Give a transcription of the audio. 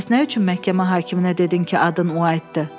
Bəs nə üçün məhkəmə hakiminə dedin ki, adın White-dır?